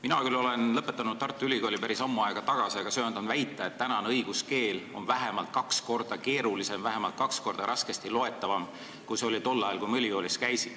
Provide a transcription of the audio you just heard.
Mina küll olen lõpetanud Tartu Ülikooli päris ammu aega tagasi, aga söandan väita, et tänane õiguskeel on vähemalt kaks korda keerulisem, vähemalt kaks korda raskesti loetavam, kui see oli tol ajal, kui ma ülikoolis käisin.